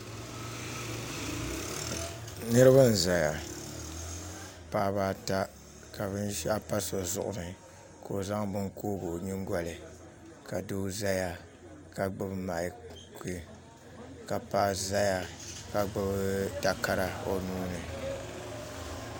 Niraba n ʒɛya paɣaba ata ka binshaɣu pa so zuɣu ni ka o zaŋ bini koogi o nyingoli ka doo ʒɛya ka gbubi maiki ka paɣa ʒɛya ka gbubi takara o nuuni